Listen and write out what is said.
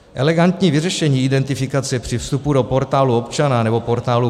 Elegantní vyřešení identifikace při vstupu do Portálu občana nebo portálu